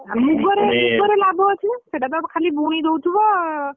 ଆଉ ମୁଗରେ ଲାଭ ଅଛି ନା ସେଇଟା ତ ଖାଲି ବୁଣି ଦଉଥିବ,